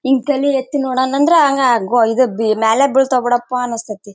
ಹಿಂಗ್ ತೇಲಿ ಎತ್ತಿ ನೋಡೋಣ ಅಂದ್ರೆ ಹಂಗ ಗೋ ಇದ ಬಿ ಮ್ಯಾಲೆ ಬೀಳ್ತವೆ ಬಿಡಪ್ಪ ಅನ್ಸ್ತಾತ್ತೆ .